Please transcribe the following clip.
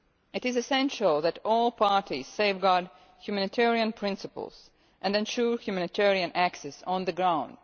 It is essential that all parties safeguard humanitarian principles and ensure humanitarian access on the ground.